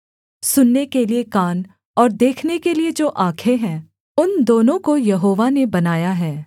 सुनने के लिये कान और देखने के लिये जो आँखें हैं उन दोनों को यहोवा ने बनाया है